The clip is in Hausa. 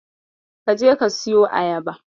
Ka je ka siyo ayaba.